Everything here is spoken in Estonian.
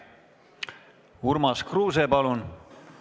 Urmas Kruuse, palun!